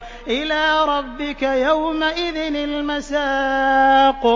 إِلَىٰ رَبِّكَ يَوْمَئِذٍ الْمَسَاقُ